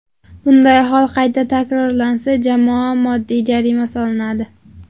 Bunday hol qayta takrorlansa, jamoaga moddiy jarima solinadi.